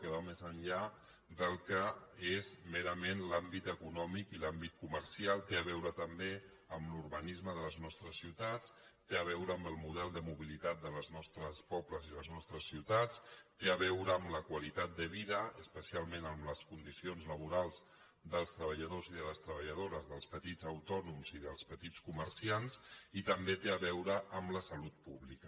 que va més enllà del que és merament l’àmbit econòmic i l’àmbit comercial té a veure també amb l’urbanisme de les nostres ciutats té a veure amb el model de mobilitat dels nostres pobles i les nostres ciutats té a veure amb la qualitat de vida especial·ment amb les condicions laborals dels treballadors i de les treballadores dels petits autònoms i dels petits comerciants i també té a veure amb la salut pública